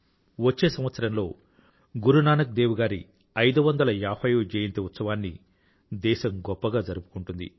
వచ్చే సంవత్సరంలో గురునానక్ దేవ్ గారి 550వ జయంతి ఉత్సవాన్ని దేశం గొప్పగా జరుపుకుంటుంది